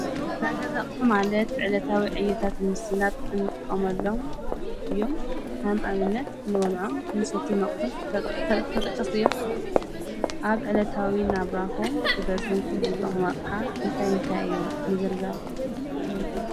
ናገዛቕሖም ሃዘብሎዕለታዊ ዕይታት ልምስናት እንጥመሎም ኣቛት እዮም ሃም ኣብነት ንበኑዖም እንሰተ መቕሑፍ ተጠቀሥ እዮም ኣብ ዕለታዊ ናብ ራሆም ብበዘንትቲ ጥቀምምቕዓ እንታይ ንታይ እዮም ምዘርዛር ዘብሎ።